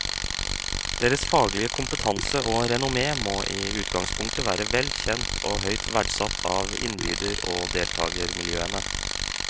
Deres faglige kompetanse og renommé må i utgangspunktet være vel kjent og høyt verdsatt av innbyder og deltagermiljøene.